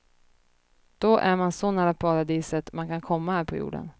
Då är man så nära paradiset man kan komma här på jorden.